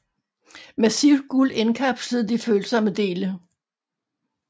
Massivt guld indkapslede de følsomme dele